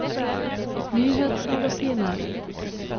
nyhetsmagasinet